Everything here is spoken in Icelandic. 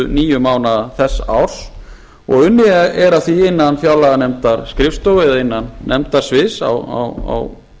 níu mánaða þess árs unnið er að því innan fjárlaganefndarskrifstofu eða innan nefndasviðs á